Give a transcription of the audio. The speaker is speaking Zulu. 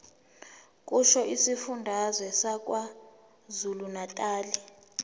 kusho isifundazwe sakwazulunatali